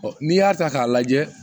n'i y'a ta k'a lajɛ